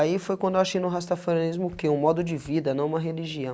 Aí foi quando eu achei no Rastafarianismo o que? um modo de vida não uma religião.